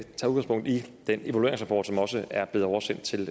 den evalueringsrapport som også er blevet oversendt til